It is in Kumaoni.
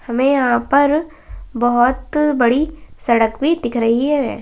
हमें यहाँ पर बहौत बड़ी सड़क भी दिख रही है।